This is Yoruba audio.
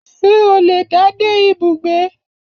Ṣé o le dá dé ibùgbé